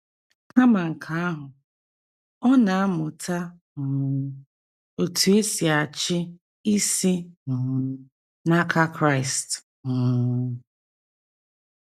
Kama nke ahụ, ọ na - amụta um otú e si achị isi um n’aka Kraịst um.